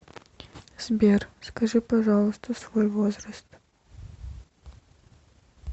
сбер скажи пожалуйста свой возраст